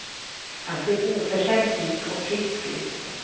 Han ser oförskämt pigg och frisk ut.